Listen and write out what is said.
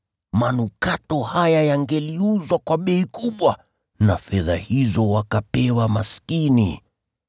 Manukato haya yangeuzwa kwa bei kubwa, na fedha hizo wakapewa maskini.”